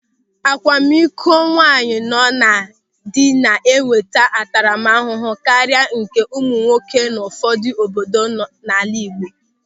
Akwamikọ nwaanyị nọ na dị na-enweta ntaramahụhụ karịa nke ụmụnwoke n'ụfọdụ obodo n'ala Igbo.